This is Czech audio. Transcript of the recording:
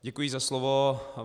Děkuji za slovo.